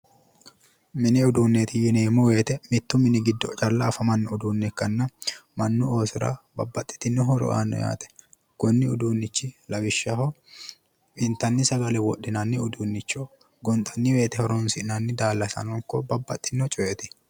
Mini uduunneeti yineemmo woyiite mittu mini giddo calla afamanno uduunne ikkanna mannu osora babbaxitino horo aanno yaate. konni uduunnichi lawishshaho intanni sagale wodhinanni uduunnicho. gonxanni woyiite horonsi'nanni daallasano ikko babbaxxino coyeeti.